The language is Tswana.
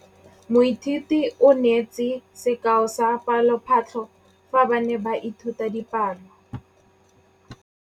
Moithuti o neetse sekaô sa palophatlo fa ba ne ba ithuta dipalo.